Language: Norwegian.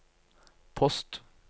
post